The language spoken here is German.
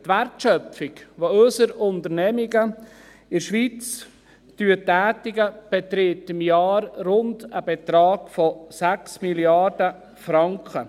Die Wertschöpfung, die unsere Unternehmungen in der Schweiz tätigen, beträgt im Jahr einen Betrag von rund 6 Mrd. Franken.